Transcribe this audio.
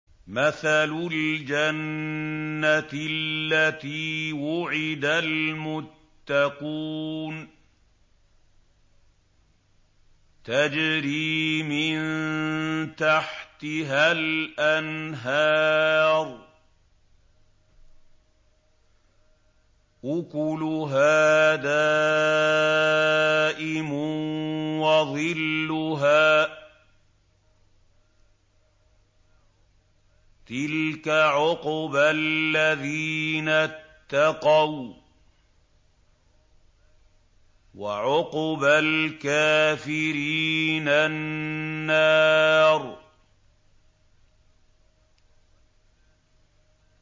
۞ مَّثَلُ الْجَنَّةِ الَّتِي وُعِدَ الْمُتَّقُونَ ۖ تَجْرِي مِن تَحْتِهَا الْأَنْهَارُ ۖ أُكُلُهَا دَائِمٌ وَظِلُّهَا ۚ تِلْكَ عُقْبَى الَّذِينَ اتَّقَوا ۖ وَّعُقْبَى الْكَافِرِينَ النَّارُ